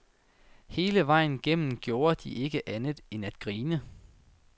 Hele vejen igennem gjorde de ikke andet end at grine.